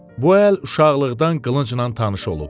Bu əl uşaqlıqdan qılıncla tanış olub.